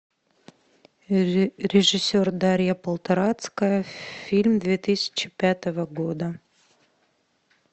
режиссер дарья полторацкая фильм две тысячи пятого года